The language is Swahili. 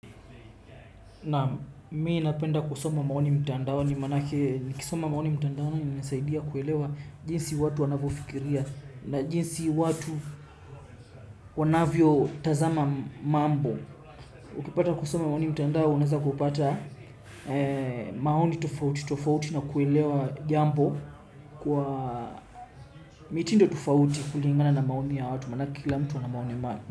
Naam mimi napenda kusoma maoni mtandaoni manake nikisoma maoni mtandaoni inasaidia kuelewa jinsi watu wanavyofikiria na jinsi watu wanavyotazama mambo. Ukipata kusoma maoni mtandao unaweza kupata maoni tofauti tofauti na kuelewa jambo kwa mitindo tofauti kulingana na maoni ya watu manake kila mtu ana maoni.